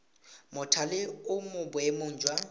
mothale o mo boemong jwa